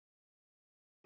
Sæll vinur